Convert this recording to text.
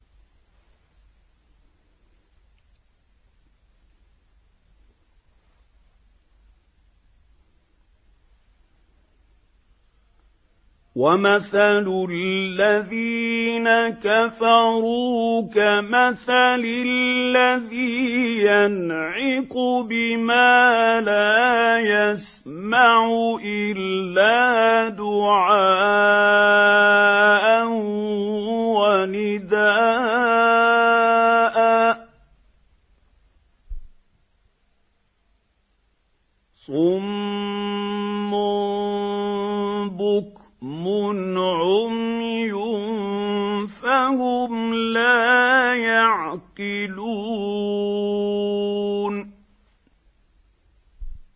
وَمَثَلُ الَّذِينَ كَفَرُوا كَمَثَلِ الَّذِي يَنْعِقُ بِمَا لَا يَسْمَعُ إِلَّا دُعَاءً وَنِدَاءً ۚ صُمٌّ بُكْمٌ عُمْيٌ فَهُمْ لَا يَعْقِلُونَ